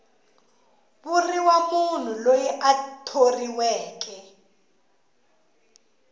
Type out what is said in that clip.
vuriwa munhu loyi a thoriweke